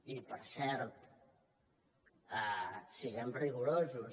i per cert siguem rigorosos